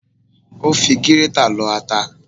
Ó fi gírétà lọ ata